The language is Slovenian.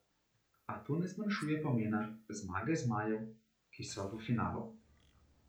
A to ne zmanjšuje pomena zmage zmajev, ki so v finalu.